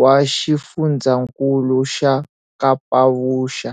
wa Xifundzankulu xa Kapavuxa.